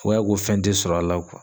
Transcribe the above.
O y'a ko fɛn te sɔr'a la .